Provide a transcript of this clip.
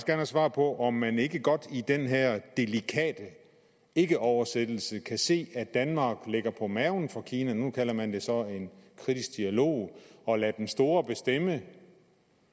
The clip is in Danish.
have svar på om man ikke godt i den her delikate ikkeoversættelse kan se at danmark ligger på maven for kina nu kalder man det så en kritisk dialog og lader den store bestemme